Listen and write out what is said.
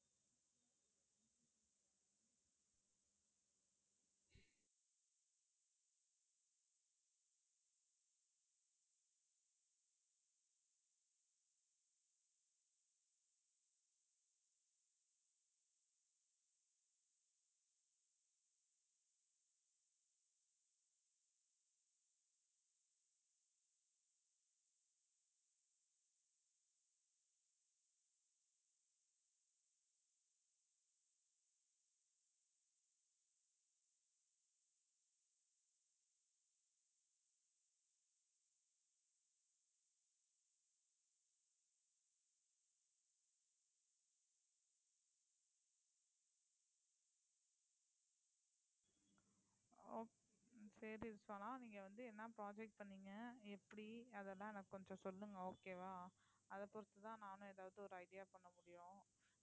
okay சரி சனா நீங்க வந்து என்ன project பண்ணீங்க எப்படி அதெல்லாம் நான் கொஞ்சம் சொல்லுங்க okay வா அதை பொறுத்துதான் நானும் எதாவது ஒரு idea பண்ண முடியும்